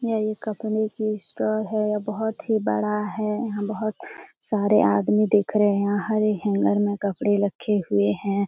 यह एक कपडे की स्ट्रॉ है यह बहुत ही बड़ा है यहाँ बहुत सारे आदमी दिख रहें हैं यहाँ हरे हैंगर में कपड़े रखे हुए हैं।